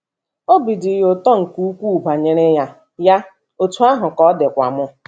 Obi dị ya ụtọ nke ukwuu banyere ya, ya, otú ahụ ka ọ dịkwa m! ”